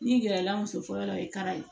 N'i gɛrɛla muso fɔlɔ la o ye kara ye